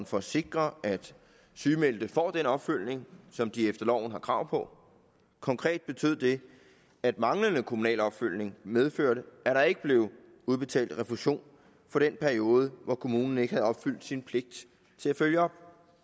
for at sikre at sygemeldte får den opfølgning som de efter loven har krav på konkret betød det at manglende kommunal opfølgning medførte at der ikke blev udbetalt refusion for den periode hvor kommunen ikke havde opfyldt sin pligt til at følge op